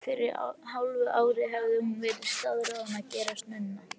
Fyrir hálfu ári hafði hún verið staðráðin að gerast nunna.